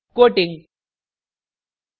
* quoting quoting